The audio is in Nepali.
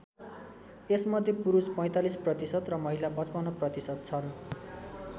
यसमध्ये पुरुष ४५% र महिला ५५% छन्।